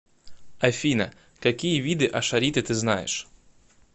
афина какие виды ашариты ты знаешь